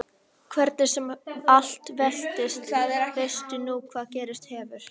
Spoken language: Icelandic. Hvernig sem allt veltist veistu nú hvað gerst hefur.